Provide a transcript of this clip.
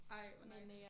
Ej hvor nice